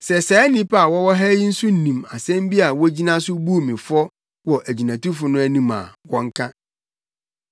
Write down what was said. Sɛ saa nnipa a wɔwɔ ha yi nso nim asɛm bi a wogyina so buu me fɔ wɔ agyinatufo no anim a wɔnka.